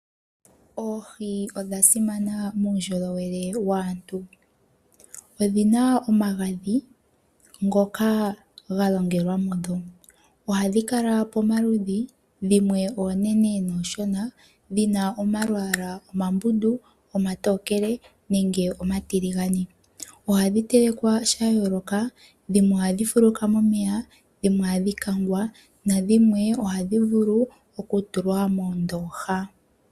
Oohi odha simana muundjolowele waantu, odhi na omagadhi gnoka ga longelwa mudho. Ohadhi kala pomaludhi dhimwe oonene noonshona, dhina omalwaala omambundu, omatookele nenge omatiligane. Ohadhi telekwa sha yooloka dhimwe ohadhi fuluka momeya, dhimwe ohadhi kangwa, nadhimwe ohadhi vulu okutulwa moondoha.